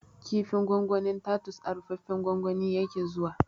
Kifin gwangwanin tatus a rufaffen gwangwani yake zuwa